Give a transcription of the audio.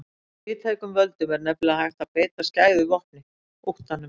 Með víðtækum völdum er nefnilega hægt að beita skæðu vopni, óttanum.